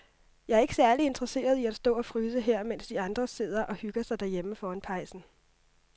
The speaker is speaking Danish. Jeg er ikke særlig interesseret i at stå og fryse her, mens de andre sidder og hygger sig derhjemme foran pejsen.